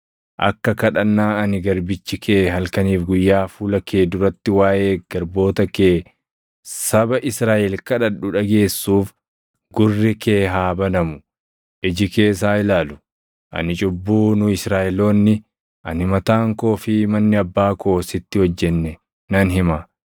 akka kadhannaa ani garbichi kee halkanii fi guyyaa fuula kee duratti waaʼee garboota kee saba Israaʼel kadhadhu dhageessuuf gurri kee haa banamu; iji kees haa ilaalu. Ani cubbuu nu Israaʼeloonni, ani mataan koo fi manni abbaa koo sitti hojjenne nan hima.